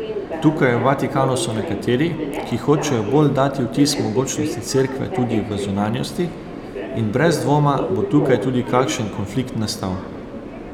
Tukaj v Vatikanu so nekateri, ki hočejo bolj dati vtis mogočnosti Cerkve tudi v zunanjosti, in brez dvoma bo tukaj tudi kakšen konflikt nastal.